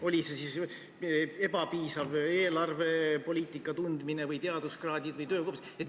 Oli see ebapiisav eelarvepoliitika tundmine või oli asi teaduskraadides või töökogemuses?